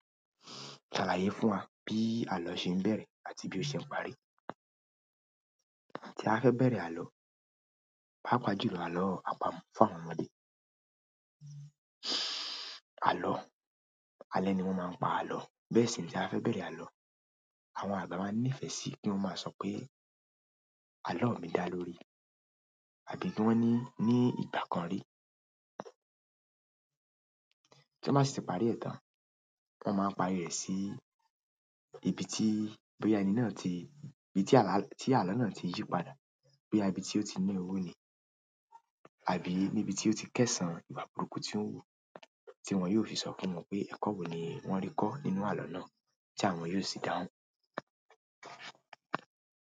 Ṣàlàyé fún wa bí àlọ́ ṣe ń bẹ̀rẹ̀ àti bí ó ṣe ń parí. Tí a fẹ́ bẹ̀rẹ̀ àlọ́, pàápàá jù lọ àlọ́ àpamọ́ fún àwọn ọmọdé. Àlọ́, alẹ́ ni wọ́n máa ń pa àlọ́. Bẹ́ẹ̀ sì rèé, táa bá fẹ́ bẹ̀rẹ̀ àlọ́, àwọn àgbà máa ń nífẹ̀ẹ́ sí kí wọ́n máa sọ pé, "Àlọ́ mi dá lórí." Àbí kí wọ́n ní, "Ní ìgbà kan rí." Tí wọ́n bá sì ti parí ẹ̀ tán, wọ́n máa ń parí rẹ̀ sí ibi tí, bóyá ẹni náà ti, ibi tí àlá, tí àlọ́ náà ti yí padà, bóyá ibi tí ó ti ní owó ni àbí níbi tí ó ti kẹ́san ìwà burúkú tí ó ń hù, tí wọ́n yóò fi sọ fún wọn pé ẹ̀kọ́ wo ni wọ́n rí kọ́ nínú àlọ́ náà tí àwọn yóò sì dáhùn.